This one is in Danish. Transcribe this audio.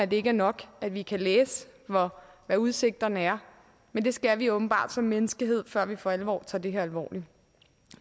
det ikke er nok at vi kan læse hvad udsigterne er men det skal vi åbenbart som menneskehed før vi for alvor tager det her alvorligt